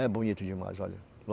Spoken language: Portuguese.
É bonito demais, olha.